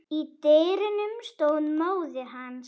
Í dyrunum stóð móðir hans.